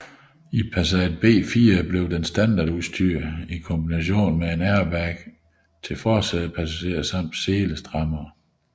I Passat B4 blev den standardudstyr i kombination med en airbag til forsædepassageren samt selestrammere